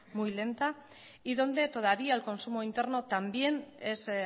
muy lenta y donde todavía el consumo interno también es